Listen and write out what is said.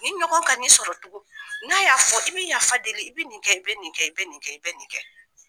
Nin ɲɔgɔn ka n'i sɔrɔ tugun n'a y'a fɔ i bɛ yafa deli i bɛ nin kɛ i bɛ nin kɛ i bɛ nin kɛ i bɛ nin kɛ.